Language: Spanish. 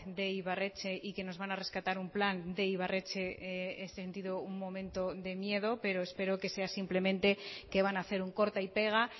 de ibarretxe y que nos van a rescatar un plan de ibarretxe he sentido un momento de miedo pero espero que sea simplemente que van a hacer un corta y pega